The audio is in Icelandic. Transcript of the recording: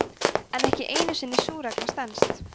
en ekki einu sinni sú regla stenst